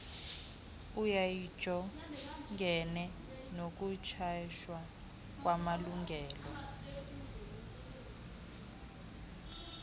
eyayijongene nokunyhashwa kwamalungelo